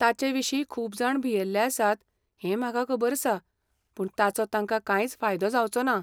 ताचें विशीं खूब जाण भियेल्ले आसात हें म्हाका खबर आसा, पूण ताचो तांका कांयच फायदो जावचो ना.